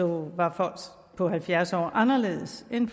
var folk på halvfjerds år anderledes end